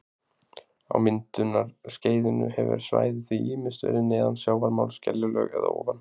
Á myndunarskeiðinu hefur svæðið því ýmist verið neðan sjávarmáls- skeljalög- eða ofan